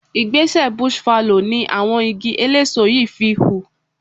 Igbẹ́sẹ̀ bush fallow in àwọn igi eléso yìí fi hù.